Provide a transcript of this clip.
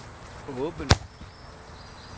åben